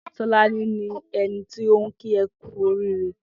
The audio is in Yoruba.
Tolani ni ẹni tó n ki ẹ kù óriré